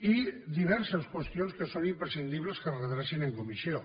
i diverses qüestions que són imprescindibles que es redrecin en comissió